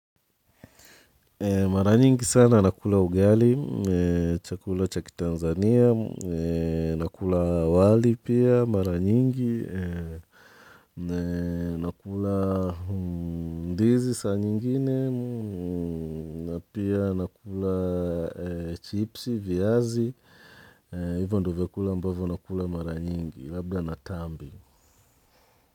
Mara nyingi sana nakula ugali, chakula cha kiTanzania, nakula wali pia, mara nyingi, nakula ndizi saa nyingine, na pia nakula chipsi, viazi, hivyo ndo vyakula ambavyo nakula mara nyingi, labda na tambi.